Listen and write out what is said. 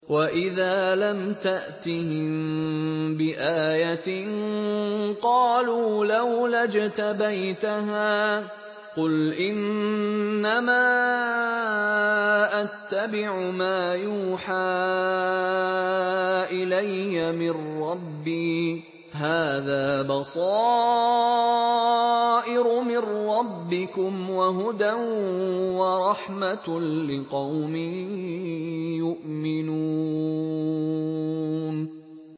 وَإِذَا لَمْ تَأْتِهِم بِآيَةٍ قَالُوا لَوْلَا اجْتَبَيْتَهَا ۚ قُلْ إِنَّمَا أَتَّبِعُ مَا يُوحَىٰ إِلَيَّ مِن رَّبِّي ۚ هَٰذَا بَصَائِرُ مِن رَّبِّكُمْ وَهُدًى وَرَحْمَةٌ لِّقَوْمٍ يُؤْمِنُونَ